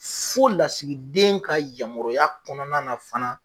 Fo lasigiden ka yamaruya kɔnɔna na fana.